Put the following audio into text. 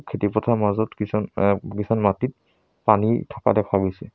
খেতি পথাৰৰ মাজত কিছুমান এ কিছুমান মাটিত পানী থকা দেখা গৈছে।